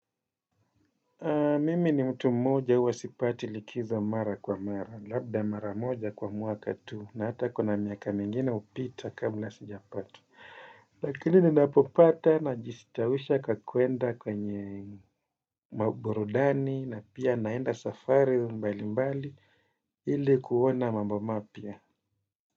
Mimi ni mtu mmoja huwa sipati likizo mara kwa mara, labda mara moja kwa mwaka tu na hata kuna miaka mingine upita kabla sijapata. Lakini ni napopata na jisitawisha kwa kwenda kwenye maburudani na pia naenda safari mbali mbali ili kuona mambo mapya.